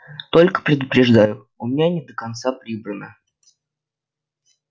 только предупреждаю у меня не до конца прибрано